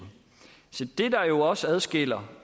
se det der jo også adskiller